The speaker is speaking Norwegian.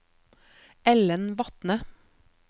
Ellen Vatne